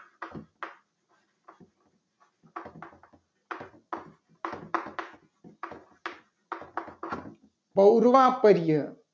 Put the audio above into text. સૌરમાં પર્ય